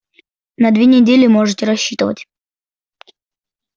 на две недели можете рассчитывать